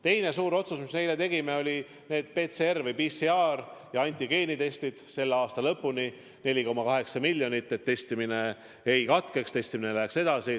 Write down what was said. Teine suur otsus, mis me eile tegime, oli eraldada PCR antigeenitestide jaoks selle aasta lõpuni 4,8 miljonit, et testimine ei katkeks, et testimine läheks edasi.